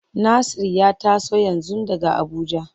Nasir ya taso yanzu daga Abuja.